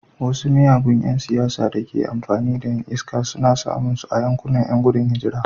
Wasu miyagun ’yan siyasa da ke amfani da ’yan iska suna samun su a yankunan ’yan gudun hijira.